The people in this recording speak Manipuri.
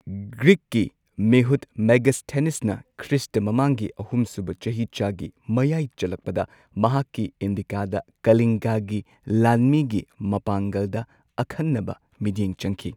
ꯒ꯭ꯔꯤꯛꯀꯤ ꯃꯤꯍꯨꯠ ꯃꯦꯒꯥꯁꯊꯦꯅꯤꯁꯅ ꯈ꯭ꯔꯤꯁꯇ ꯃꯃꯥꯡꯒꯤ ꯑꯍꯨꯝ ꯁꯨꯕ ꯆꯍꯤꯆꯥꯒꯤ ꯃꯌꯥꯏ ꯆꯜꯂꯛꯄꯗ ꯃꯍꯥꯛꯀꯤ ꯏꯟꯗꯤꯀꯥꯗ ꯀꯂꯤꯡꯒꯒꯤ ꯂꯥꯟꯃꯤꯒꯤ ꯃꯄꯥꯡꯒꯜꯗ ꯑꯈꯟꯅꯕ ꯃꯤꯠꯌꯦꯡ ꯆꯪꯈꯤ